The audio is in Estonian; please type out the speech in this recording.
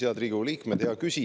Head Riigikogu liikmed!